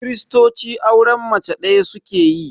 Kiristoci auren mace ɗaya suke yi